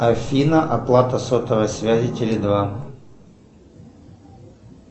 афина оплата сотовой связи теле два